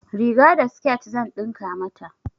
Riga da sket zan ɗinka mata.